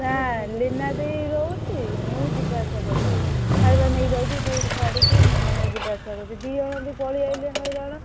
ନା ଲୀନା ଦେଇ ରହୁଛି ମୁଁ ଯିବା ଆସିବା କରୁଛି ଖାଇବା ନେଇକି ଯାଉଛି duty ଛାଡିକି ମୁଁ ମାନେ ଯିବା ଆସିବା କରୁଛି ଦି ଜଣ ବି ପଳେଇଆଇଲେ ହଇରାଣ।